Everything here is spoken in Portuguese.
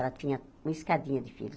Ela tinha uma escadinha de filhos.